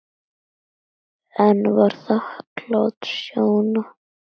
En var þakklát Sjóna.